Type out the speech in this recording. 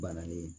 Bananen ye